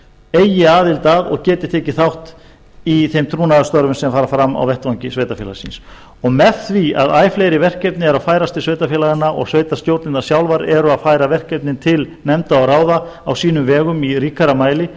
eigi aðild að og geti tekið þátt í þeim trúnaðarstörfum sem fara fram á vettvangi sveitarfélagsins og með því að æ fleiri verkefni eru að færast til sveitarfélaganna og sveitarstjórnirnar sjálfar eru að færa verkefnin til nefnda og ráða á sínum vegum í ríkara mæli